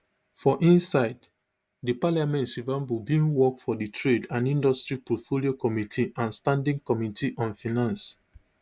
for inside di parliament shivambu bin work for di trade and industry portfolio committee and standing committee on finance